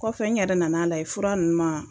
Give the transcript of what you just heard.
Kɔfɛ n yɛrɛ nana lajɛ fura ninnu